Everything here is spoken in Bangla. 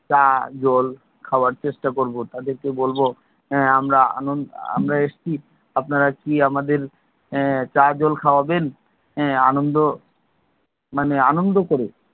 চা জল খাওয়ার চেষ্টা করবো। তাদেরকে বলবো এর আমরা এসেছি, আপনারা কি আমাদের এর চা জল খাওয়াবেন? আনন্দ মানে আনন্দ করুক।